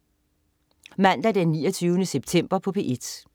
Mandag den 29. september - P1: